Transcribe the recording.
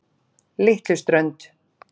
Litluströnd